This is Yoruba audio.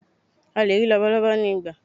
a lè rí labalábá ni igba